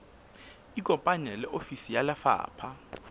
ikopanye le ofisi ya lefapha